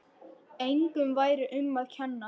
Engum væri um að kenna.